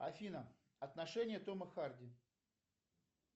афина отношения тома харди